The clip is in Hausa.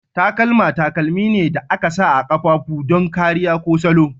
Takalma takalmi ne da aka sa a ƙafafu don kariya ko salon.